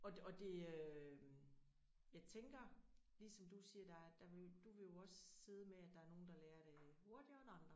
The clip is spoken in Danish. Og og det øh jeg tænker ligesom du siger der der du vil jo også sidde med der er nogen der lærer det hurtigere end andre